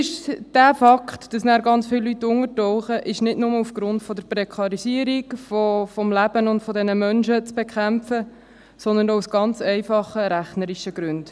Der Fakt, dass dann ganz viele untertauchen, ist nicht nur aufgrund der Prekarisierung des Lebens dieser Menschen, zu bekämpfen, sondern aus ganz einfachen rechnerischen Gründen: